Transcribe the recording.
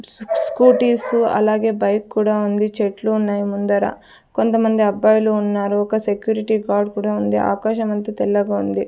Scooties అలాగే bike కూడా ఉంది చెట్లు ఉన్నాయి ముందర కొంతమంది అబ్బాయిలు ఉన్నారు ఒక సెక్యూరిటి గార్డ్ కూడా ఉంది ఆకాశం అంతా తెల్లగా ఉంది.